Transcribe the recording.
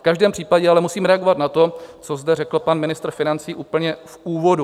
V každém případě ale musím reagovat na to, co zde řekl pan ministr financí úplně v úvodu.